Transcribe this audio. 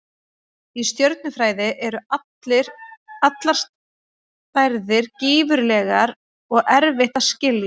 Í stjörnufræði eru allar stærðir gífurlegar og erfitt að skilja.